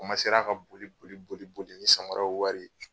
Omasera ka boli boli boli boli ni samaraw wari ye.